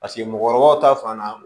Paseke mɔgɔkɔrɔbaw ta fan na